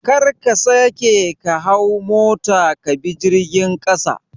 Kar ka sake ka hau mota ka bi jirgin ƙasa